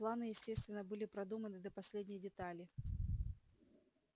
планы естественно были продуманы до последней детали